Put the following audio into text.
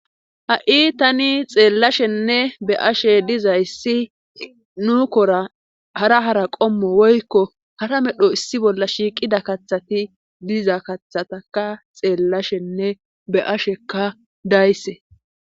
Ha'i tani xeellashenne be ashe dizayssi nuukora hara hara qommo woykko hara medho issi bolla shiiqida kathati diza kathataka xeellashenne be ashekka dayse.